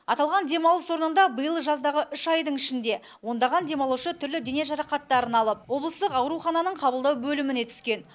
аталған демалыс орнында биыл жаздағы үш айдың ішінде ондаған демалушы түрлі дене жарақатын алып облыстық аурухананың қабылдау бөліміне түскен